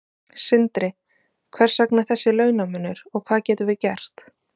Sindri: Hvers vegna þessi launamunur og hvað getum við gert?